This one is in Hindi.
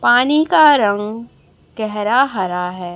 पानी का रंग गहरा हरा है।